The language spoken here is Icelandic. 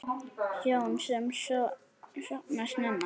Hjón sem sofna snemma